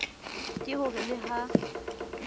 ke ho re le ha